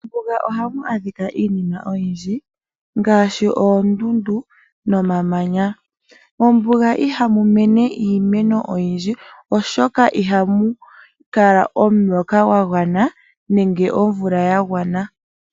Mombuga ohamu adhika iinima oyindji ngaashi oondundu nomamanya. Mombuga ihamu mene iimeno oyindji, omolwaashoka ihamu kala omvula yagwana.